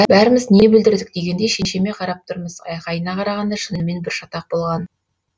бәріміз не бүлдірдік дегендей шешеме қарап тұрмыз айқайына қарағанда шынымен бір шатақ болған